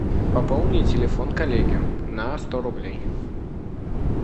пополни телефон коллеги на сто рублей